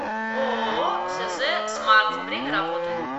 ооо сз смарт время работы